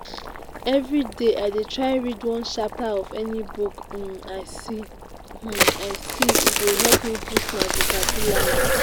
everyday i dey try read one chapter of any book um i see um i see e dey help me boost my vocabulary